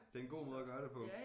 Det en god måde at gøre det på